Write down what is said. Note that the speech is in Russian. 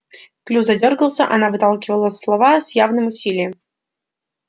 клюв задёргался она выталкивала слова с явным усилием